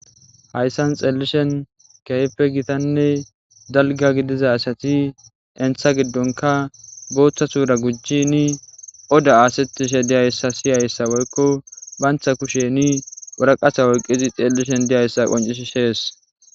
Hayssan xeelishen keype gitanne dalga gidiza asati entha giddonka booththa tuura gujjini oda aasetishe diyayssa siyayssa woykko bantha kusheni wuraqasa woyqqizi xeellishen diyayssa qoncis shees.